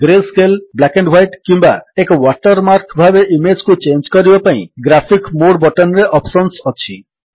greyscale black and white କିମ୍ୱା ଏକ watermark ଭାବେ ଇମେଜ୍ କୁ ଚେଞ୍ଜ କରିବା ପାଇଁ ଗ୍ରାଫିକ୍ସ ମୋଡେ ବଟନ୍ ରେ ଅପ୍ସନ୍ସ ଅଛି